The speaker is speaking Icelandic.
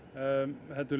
heldur